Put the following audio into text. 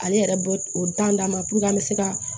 Ale yɛrɛ b'o o dan d'an ma puruke an be se ka